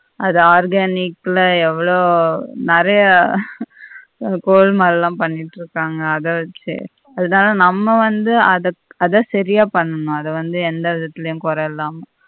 அது organic ல எவ்வளோ நெறைய கோல்மால்லாம் பண்ணிட்டு இருக்காங்க அத வச்சி அதனால நம்ம வந்து அத அத சரியா பண்ணனும் அத வந்து எந்த விதத்திலயும் கொர இல்லாம